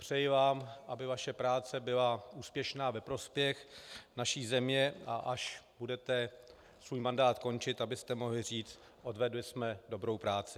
Přeji vám, aby vaše práce byla úspěšná ve prospěch naší země, a až budete svůj mandát končit, abyste mohli říct: odvedli jsme dobrou práci.